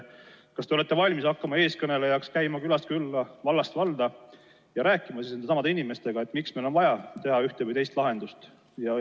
Kas te olete valmis hakkama eestkõnelejaks ning käima külast külla ja vallast valda rääkimas nendesamade inimestega sellest, miks meil on vaja teha ühte või teist lahendust?